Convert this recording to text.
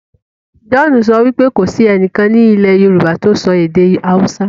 John sọ wípé kò sí ẹnìkan ní ilú yorùbá ti sọ èdè hausa.